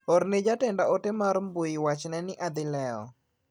Orne jatenda ote mar mbui wachne ni adhi lewo.